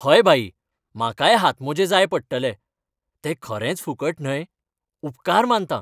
हय भाई, म्हाकाय हातमोजे जाय पडटले. ते खरेंच फुकट न्हय? उपकार मानतां!